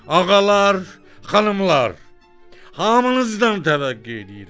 Ağalar, xanımlar, hamınızdan təvəqqe eləyirəm.